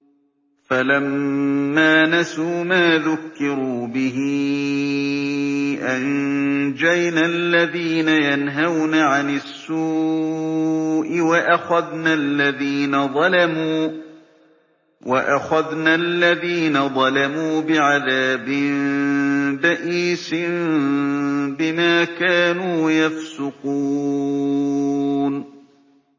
فَلَمَّا نَسُوا مَا ذُكِّرُوا بِهِ أَنجَيْنَا الَّذِينَ يَنْهَوْنَ عَنِ السُّوءِ وَأَخَذْنَا الَّذِينَ ظَلَمُوا بِعَذَابٍ بَئِيسٍ بِمَا كَانُوا يَفْسُقُونَ